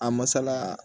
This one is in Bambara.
A masala